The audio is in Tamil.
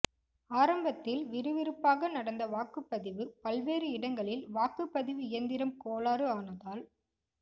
ஆரம்பத்தில் விறுவிறுப்பாக நடந்த வாக்குப் பதிவு பல்வேறு இடங்களில் வாக்குப் பதிவு இயந்திரம் கோளாறு ஆனதால்